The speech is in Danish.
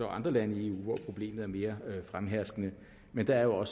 andre lande i eu hvor problemet er mere fremherskende men der er jo